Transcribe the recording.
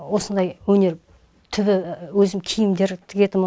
осындай өнер түбі өзім киімдер тігетінмін